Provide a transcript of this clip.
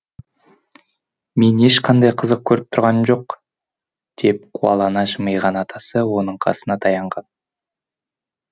мен ешқандай қызық көріп тұрғаным жоқ деп қуалана жымиған атасы оның қасына таянған